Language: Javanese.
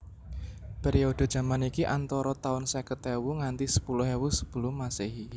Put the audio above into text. Periode jaman iki antara taun seket ewu nganti sepuluh ewu Sebelum Masehi